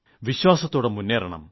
വിശ്വാസത്തോടെ മുേറണം